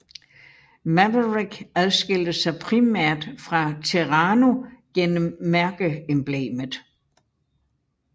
Maverick adskilte sig primært fra Terrano gennem mærkeemblemet